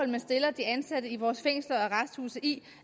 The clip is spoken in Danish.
man stiller de ansatte i vores fængsler og arresthuse i